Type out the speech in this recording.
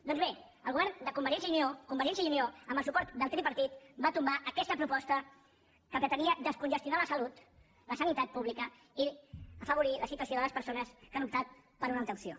doncs bé el govern de convergència i unió convergència i unió amb el suport del tripartit va tombar aquesta proposta que pretenia descongestionar la salut la sanitat pública i afavorir la situació de les persones que han optat per una altra opció